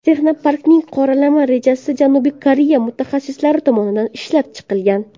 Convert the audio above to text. Texnoparkning qoralama rejasi Janubiy Koreya mutaxassislari tomonidan ishlab chiqilgan.